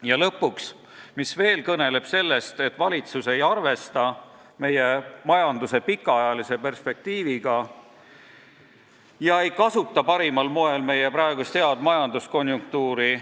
Ja lõpuks veel üks asi, mis kõneleb sellest, et valitsus ei arvesta meie majanduse pikaajalise perspektiiviga ega kasuta parimal moel meie praegust head majanduskonjunktuuri.